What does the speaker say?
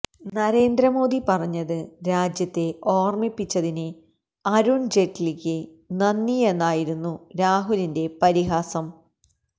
നരേന്ദ്രമോദി പറഞ്ഞത് രാജ്യത്തെ ഓര്മിപ്പിച്ചതിന് അരുണ് ജയ്റ്റ്ലിക്ക് നന്ദിയെന്നായിരുന്നു രാഹുലിന്റെ പരിഹാസം